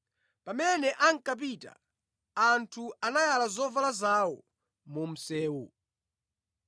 Pamene ankapita, anthu anayala zovala zawo mu msewu.